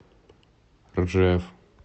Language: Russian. ржев